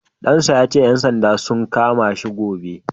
Ɗan sa ya ce, ƴan sandan za su kama shi gobe.